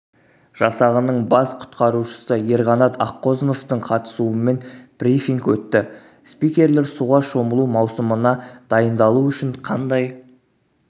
жасағының бас құтқарушысы ерқанат аққозыновтың қатысумен брифинг өтті спикерлер суға шомылу маусымына дайындалу үшін қандай